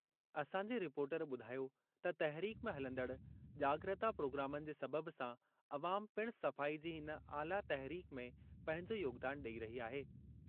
असांजे रिपोर्टर ॿुधायो त तहरीक में हलंदड़ जाग॒रता प्रोग्रामनि जे सबबि सां अवाम पिणु सफ़ाई जी इन आला तहरीक में पंहिंजो योगदान ॾेई रही आहे।